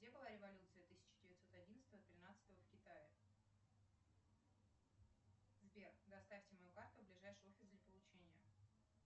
где была революция тысяча девятьсот одиннадцатого тринадцатого в китае сбер доставьте мою карту в ближайший офис для получения